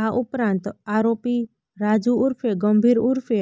આ ઉપરાંત આરોપી રાજુ ઉર્ફે ગંભીર ઉર્ફે